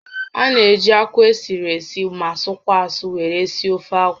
A na-eji akwụ esiri esi ma sụkwaa asụ were esi ofeakwụ